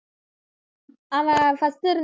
அவன் இருந்தா~